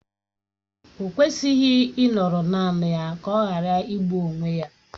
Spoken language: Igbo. O kwesịghị ịnọrọ naanị ya ka ọ ghara igbụ onwe ya